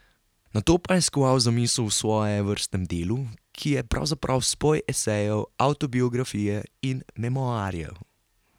Nato pa je skoval zamisel o svojevrstnem delu, ki je pravzaprav spoj esejev, avtobiografije in memoarjev.